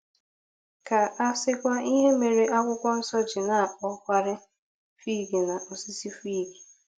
Ka a sịkwa ihe mere Akwụkwọ Nsọ ji na-akpọkarị fig na osisi fig.